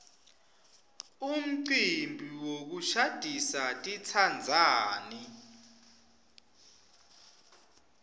umcimbi wokushadisa titsandzani